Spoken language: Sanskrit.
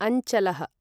अञ्चलः